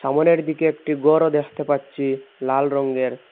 সামোনের দিকে একটি গরও দেখতে পাচ্ছি লাল রঙের।